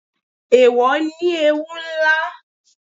Eèwò ní ewú ńlá